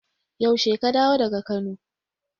Yaushe ka dawo daga Kano?